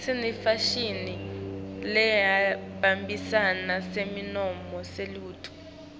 sinefashini lehambisana nesimo selitulu